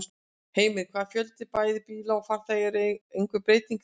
Heimir: Hvað með fjölda bæði bíla og farþega, er einhver breyting þar?